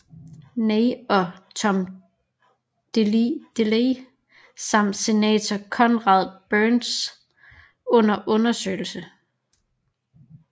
Ney og Tom Delay samt senator Conrad Burns under undersøgelse